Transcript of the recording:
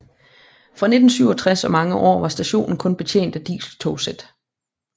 Fra 1967 og mange år var stationen kun betjent af dieseltogsæt